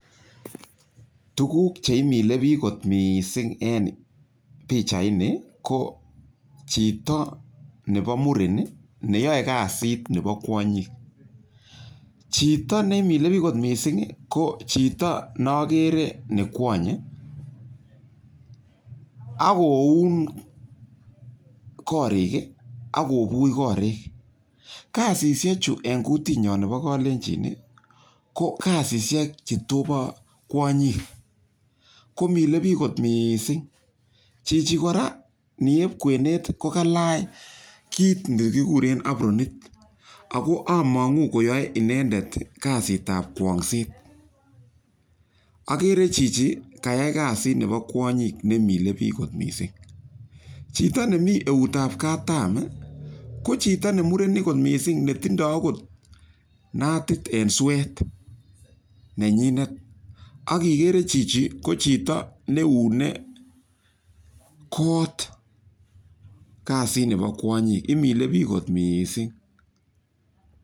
Tuguk che mile piik kot missing' en pichaini ko chito nepo muren ne yae kasit nepo kwonyik. Chito ne mile pich kot missing' ko chito ne akere ne kwonye ako un koriik i ak kopuch koriik. Kasini eng' kutitnyo nepo Kalenjin ko kasishek che topa kwonyik, ko milei piik missing'. Chichi kora nep kwenet ko kelach kit ne kikureb apronit. Ako amang'u kole yae inendet kasit ap kwong'set. Akere chichi kayai kasit nepo kwonyik ne mile piik missing'. Chito nemi keut ap katam ko chito ne murenik kot missing' ne tindai akot natit en suet ne nyinet ak ikere chichitok ko chito ne iune suet kot, kasit nepo kwonyik, imile piik kot missing'.